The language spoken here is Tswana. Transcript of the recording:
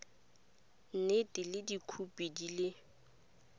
nnete le dikhopi di le